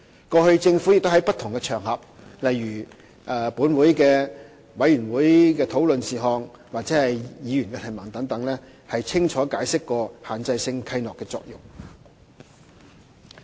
過去，政府亦在不同場合，例如就立法會的委員會討論事項或議員的質詢等，清楚解釋限制性契諾的作用。